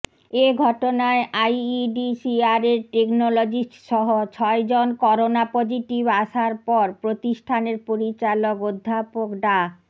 এ ঘটনায় আইইডিসিআরের টেকনোলজিস্টসহ ছয়জন করোনা পজিটিভ আসার পর প্রতিষ্ঠানের পরিচালক অধ্যাপক ডা